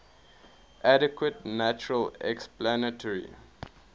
adequate natural explanatory